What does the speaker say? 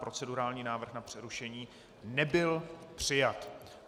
Procedurální návrh na přerušení nebyl přijat.